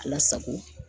Lasago